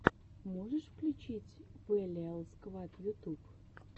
можешь включить вэлиал сквад ютуб